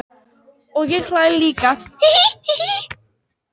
Og ég hlæ líka.